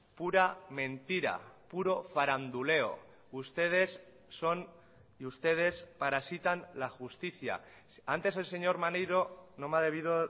pura mentira puro faranduleo ustedes son y ustedes parasitan la justicia antes el señor maneiro no me ha debido